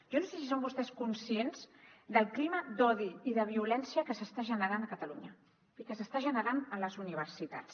jo no sé si són vostès conscients del clima d’odi i de violència que s’està generant a catalunya i que s’està generant a les universitats